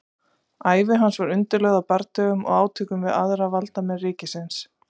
ævi hans var undirlögð af bardögum og átökum við aðra valdamenn ríkisins